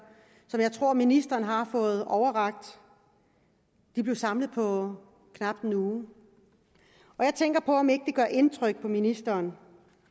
som jeg tror ministeren har fået overrakt de blev samlet på knap en uge jeg tænker på om ikke det gør indtryk på ministeren